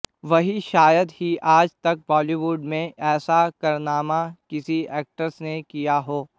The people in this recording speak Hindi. वहीं शायद ही आज तक बॉलीवुड में ऐसा कारनामा किसी एक्ट्रेस ने किया हो